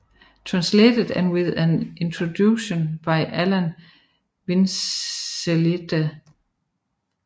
Translated and with an introduction by Alan Vincelette